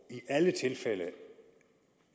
i alle tilfælde